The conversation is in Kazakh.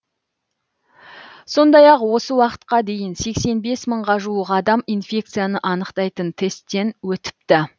сондай ақ осы уақытқа дейін сексен бес мыңға жуық адам инфекцияны анықтайтын тесттен өтіпті